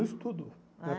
Ah No estudo.